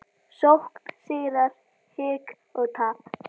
Sókn, sigrar, hik og tap.